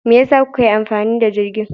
Me yasa kuka yi amfani da jirgin?